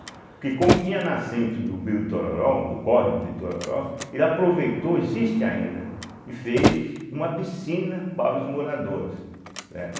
Porque como tinha nascente do rio Itororó, do córrego de Itororó, ele aproveitou, existe ainda, e fez uma piscina para os moradores.